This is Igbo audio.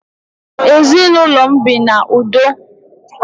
Ezi na ulo m bi na udoo.